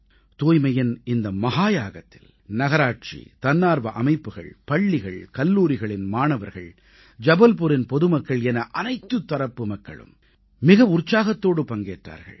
தூய்மையின் இந்த மஹாயாகத்தில் நகராட்சி தன்னார்வ அமைப்புகள் பள்ளிகள்கல்லூரிகளின் மாணவர்கள் ஜபல்புரின் பொதுமக்கள் என அனைத்துத் தரப்பு மக்களும் மிக உற்சாகத்தோடு பங்கேற்றார்கள்